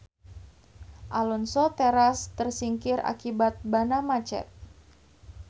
Alonso teras tersingkir akibat banna macet.